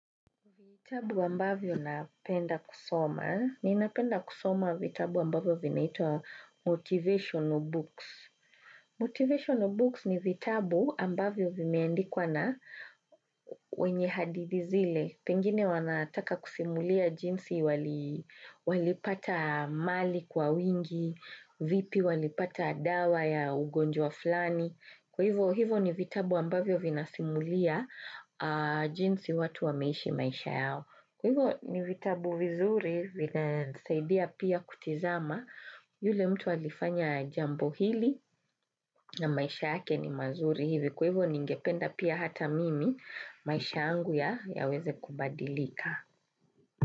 Vitabu ambavyo napenda kusoma. Ninapenda kusoma vitabu ambavyo vinaitwa Motivational Books. Motivational Books ni vitabu ambavyo vimeandikwa na wenye hadithi zile. Pengine wanataka kusimulia jinsi walipata mali kwa wingi, vipi walipata dawa ya ugonjwa fulani. Kwa hivo hivo ni vitabu ambavyo vinasimulia jinsi watu wameishi maisha yao. Kwahivyo ni vitabu vizuri, vinisaidia pia kutizama yule mtu alifanya jambo hili na maisha yake ni mazuri hivi. Kwahiyo ningependa pia hata mimi maisha yangu yaweze kubadilika.